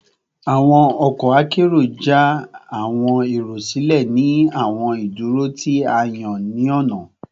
Awọn ọkọ akero ja awọn ero silẹ ni awọn iduro ti a yan ni ọna